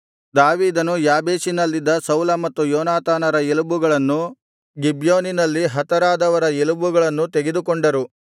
ದಾವೀದನು ಯಾಬೇಷಿನಲ್ಲಿದ್ದ ಸೌಲ ಮತ್ತು ಯೋನಾತಾನರ ಎಲುಬುಗಳನ್ನು ಗಿಬ್ಯೋನಿನಲ್ಲಿ ಹತರಾದವರ ಎಲುಬುಗಳನ್ನೂ ತೆಗೆದುಕೊಂಡರು